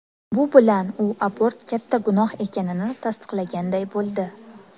Bu bilan u abort katta gunoh ekanini tasdiqlaganday bo‘ldi.